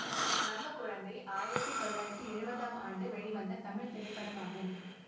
நம்ம குழந்தை ஆயிரத்தி தொள்ளாயிரத்தி எழுவதாம் ஆண்டு வெளிவந்த தமிழ் திரைப்படமாகும்